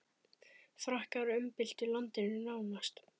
Frakkar umbyltu landinu nánast.